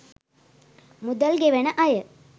මුදල් ගෙවන අය